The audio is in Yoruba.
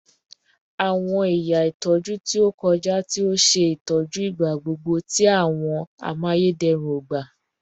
Awọn ẹya itọju ti o kọja ti o ṣe itọju igbagbogbo ti awọn amayederun ogba